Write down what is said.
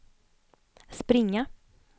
springa